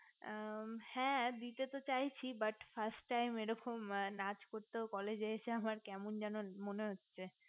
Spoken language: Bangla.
মু হে দিয়ে তো চাইছি but frist time এরকম নাচ করতেই college এসে আমার কেমন যেন মনে হচ্ছে